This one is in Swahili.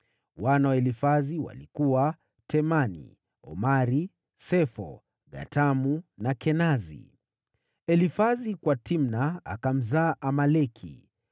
Wana wa Elifazi walikuwa: Temani, Omari, Sefo, Gatamu na Kenazi; Elifazi kwa Timna akamzaa Amaleki.